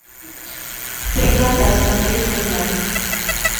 три кота смотреть онлайн